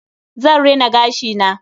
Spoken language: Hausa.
Zan rina gashi na.